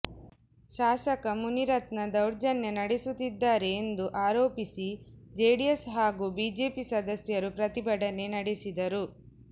ಶಾಸಕ ಮುನಿರತ್ನ ದೌರ್ಜನ್ಯ ನಡೆಸುತ್ತಿದ್ದಾರೆ ಎಂದು ಆರೋಪಿಸಿ ಜೆಡಿಎಸ್ ಹಾಗೂ ಬಿಜೆಪಿ ಸದಸ್ಯರು ಪ್ರತಿಭಟನೆ ನಡೆಸಿದರು